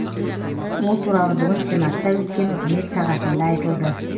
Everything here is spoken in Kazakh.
ол туралы бүгін сенатта өткен үкімет сағатында айтылды